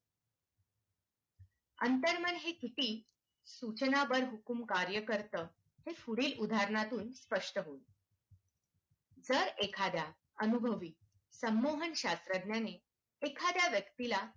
अंतर्मन हे किती सूचना बरहुकूम कार्य करत हे पुढील उदाहरणां तून स्पष्ट होई जर एखाद्या अनुभवी समूह शास्त्रज्ञांनी एखाद्या व्यक्तीला